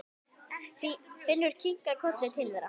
Finnur kinkaði kolli til þeirra.